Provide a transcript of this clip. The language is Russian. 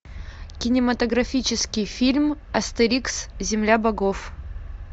кинематографический фильм астерикс земля богов